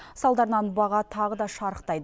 салдарынан баға тағы да шарықтайды